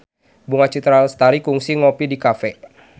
Bunga Citra Lestari kungsi ngopi di cafe